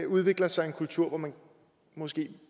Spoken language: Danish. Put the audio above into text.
udvikler sig en kultur hvor man måske